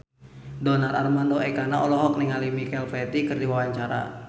Donar Armando Ekana olohok ningali Michael Flatley keur diwawancara